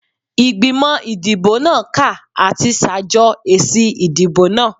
Igbimọ idibo naa ka ati ṣajọ esi idibo naa